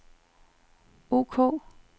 ok